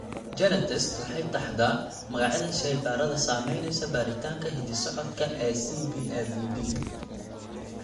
GeneTests waxay taxdaa magacyada shaybaadhada samaynaysa baaritaanka hidda-socodka ee CBAVD.